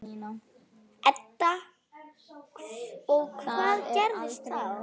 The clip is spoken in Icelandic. Edda: Og hvað gerist þá?